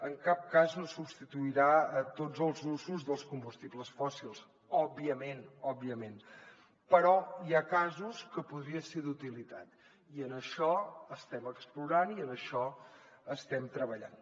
en cap cas no substituirà tots els usos dels combustibles fòssils òbviament però hi ha casos que podria ser d’utilitat i en això estem explorant i en això estem treballant